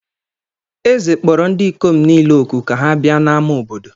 Eze kpọrọ ndị ikom niile òkù ka ha bịa n’ámá obodo.